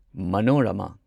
Manorama